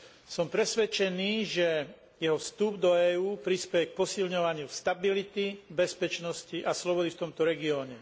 Som presvedčený, že jeho vstup do EÚ prispeje k posilňovaniu stability, bezpečnosti a slobody v tomto regióne.